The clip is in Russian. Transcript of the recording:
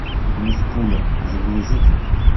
мисс пуля загрузи ка